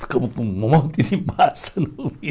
Ficamos com um monte de massa no.